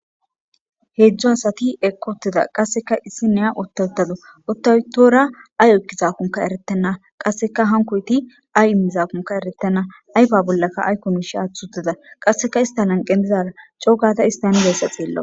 heedzdzo asati ekkotida qasseka issi neya otawtado ottawutora ay ekkizaakonka eretenna qasseka hankoyti ay immizaakonka eretenna ayfa bollaka aykkonishi aathutida qasseka istan anqentizara coogata istanileyssa xeella